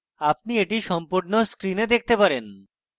আপনি এটি সম্পূর্ণ screen দেখতে পারেন